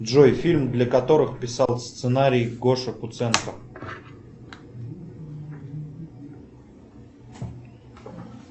джой фильм для которых писал сценарий гоша куценко